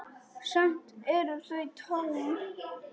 Samt eru þau tóm.